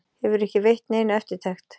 Hefur ekki veitt neinu eftirtekt.